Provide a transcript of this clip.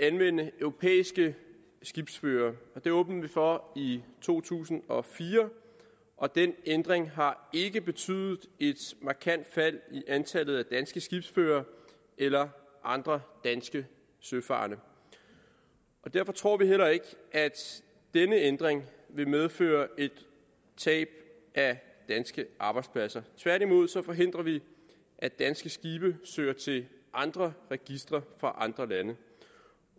anvende europæiske skibsførere det åbnede vi for i to tusind og fire og den ændring har ikke betydet et markant fald i antallet af danske skibsførere eller andre danske søfarende derfor tror vi heller ikke at denne ændring vil medføre tab af danske arbejdspladser tværtimod forhindrer vi at danske skibe søger til andre registre fra andre lande